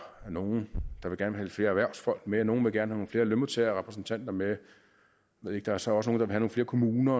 nogle der gerne vil flere erhvervsfolk med og nogle vil gerne have nogle flere lønmodtagerrepræsentanter med jeg ved ikke der er så også nogle flere kommuner